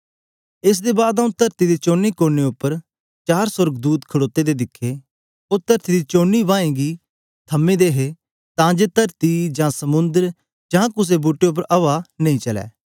एस दे बाद आऊँ तरती दे चोने कोने उपर चार सोर्गदूत खड़ोते दे दिखे ओ तरती दी चारें हवाएं गी थमे दे हे तां जे तरती जा समुंद्र जां कुसे बूट्टे उपर हवा नां चलै